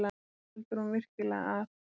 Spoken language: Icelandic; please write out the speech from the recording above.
Heldur hún virkilega að